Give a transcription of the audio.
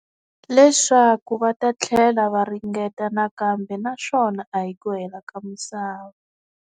Leswaku va ta tlhela va ringeta nakambe naswona a hi ku hela ka misava.